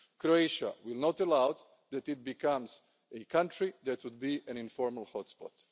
Croatia will not allow itself to become a country that would be an informal hotspot.